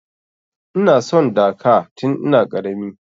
Ina son Dhaka tin ina ƙarami.